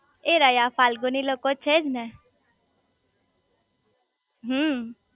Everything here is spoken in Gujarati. એ રયા ફાલ્ગુ ની લોકો છે જ ને